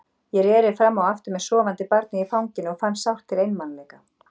Ég reri fram og aftur með sofandi barnið í fanginu og fann sárt til einmanaleika.